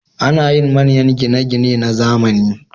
Ana yin manyan gine-gine na zamani.